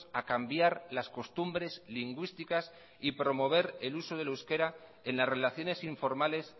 a cambiar las costumbres lingüísticas y promover el uso del euskera en las relaciones informales